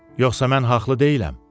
Yoxsa mən haqlı deyiləm?